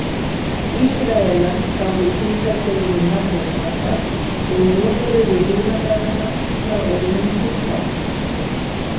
Ísraelar gáfu hvíldardeginum nafnið sabbat og númeruðu hina dagana frá einum til sex.